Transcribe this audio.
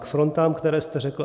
K frontám, které jste řekl.